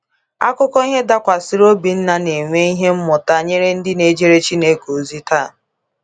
Akuko ihe dakwasiri Obinna na enwe ihe mmụta nyere ndi na ejere Chineke ozi taa